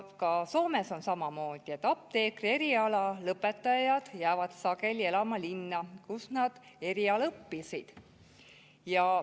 Ka Soomes on samamoodi, et apteekrieriala lõpetajad jäävad sageli elama linna, kus nad eriala õppisid.